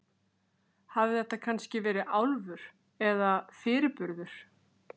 Hafði þetta kannski verið álfur, eða fyrirburður?